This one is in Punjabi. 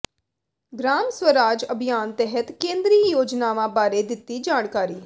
ਗ੍ਰਾਮ ਸਵਰਾਜ ਅਭਿਆਨ ਤਹਿਤ ਕੇਂਦਰੀ ਯੋਜਨਾਵਾਂ ਬਾਰੇ ਦਿੱਤੀ ਜਾਣਕਾਰੀ